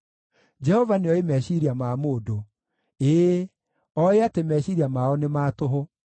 Jehova nĩoĩ meciiria ma mũndũ; ĩĩ, oĩ atĩ meciiria mao nĩ ma tũhũ.